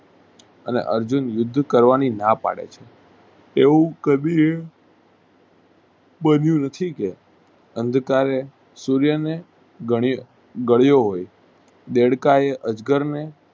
અને અર્જુન યુદ્ધ કરવાની ના પડે છે. એવું બન્યું નથી કે સૂર્યને ગણી ગળો હોય દેડકાએ અજગરને